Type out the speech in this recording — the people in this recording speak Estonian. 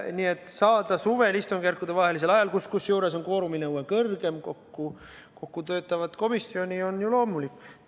Nii et saada suvel istungjärkudevahelisel ajal, kusjuures kvoorumi nõue on kõrgem, kokku töötav komisjon on ju loomulikult.